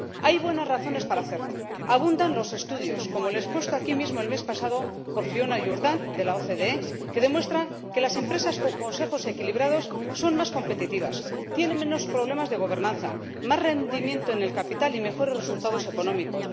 Hay buenas razones para hacerlo. Abundan los estudios −como el expuesto aquí mismo el mes pasado por Fiona Jurdant, de la OCDE− que demuestran que las empresas con consejos equilibrados son más competitivas, tienen menos problemas de gobernanza, más rendimiento en el capital y mejores resultados económicos.